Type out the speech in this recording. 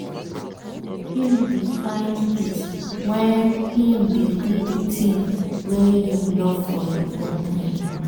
him dey find peace when him dey do the thing wey him love for him own time.